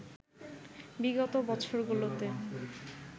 বিগত বছরগুলোতে